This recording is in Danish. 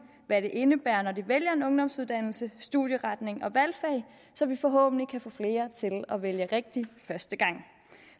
hvad det indebærer både når de vælger en ungdomsuddannelse studieretning og valgfag så vi forhåbentlig kan få flere til at vælge rigtigt første gang